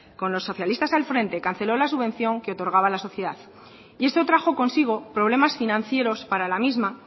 con los socialistas al frente canceló la subvención que otorgaba la sociedad y esto trajo consigo problemas financieros para la misma